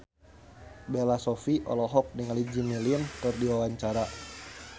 Bella Shofie olohok ningali Jimmy Lin keur diwawancara